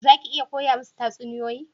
Za ki iya koya musu tatsuniyoyi?